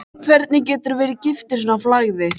Hvernig geturðu verið giftur svona flagði?